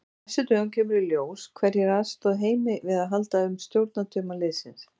Á næstu dögum kemur í ljós hverjir aðstoða Heimi við að halda um stjórnartauma liðsins.